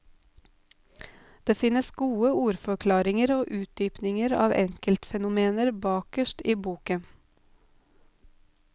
Det finnes gode ordforklaringer og utdypninger av enkeltfenomener bakerst i boken.